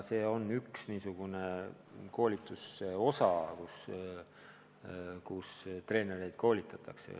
See kuulub treenerite koolituse juurde.